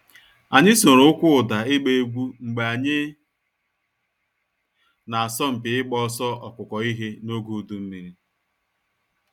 Anyị soro ụkwụ ụda ịgba egwu mgbe anyị na asọmupi ịgba ọsọ ọkụkọ ihe n’oge udu mmiri.